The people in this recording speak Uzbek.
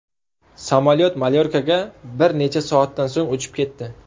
Samolyot Malyorkaga bir necha soatdan so‘ng uchib ketdi.